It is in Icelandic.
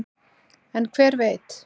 en hver veit